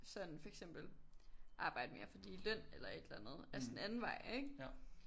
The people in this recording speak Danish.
Sådan for eksempel arbejde mere for lige løn eller et eller andet altså den anden vej ikke